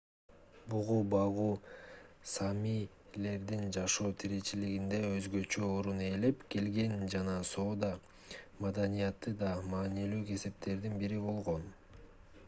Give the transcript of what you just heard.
бугу багуу саамилердин жашоо тиричилигинде өзгөчө орун ээлеп келген жана соода маданияты да маанилүү кесиптердин бири болгон